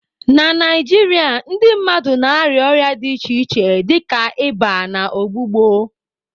Na Naijiria, ndị mmadụ na-arịa ọrịa dị iche iche dịka ịba na ọgbụgbọ.